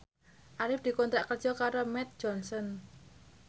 Arif dikontrak kerja karo Mead Johnson